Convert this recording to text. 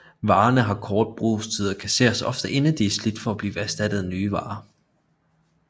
Varerne har kort brugstid og kasseres ofte inden de er slidt op for at blive erstattet af nye varer